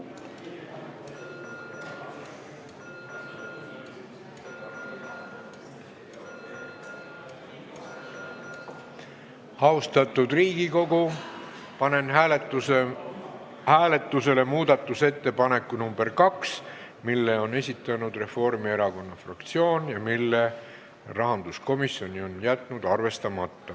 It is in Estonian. Austatud Riigikogu, panen hääletusele muudatusettepaneku nr 2, mille on esitanud Reformierakonna fraktsioon ja mille rahanduskomisjon on jätnud arvestamata.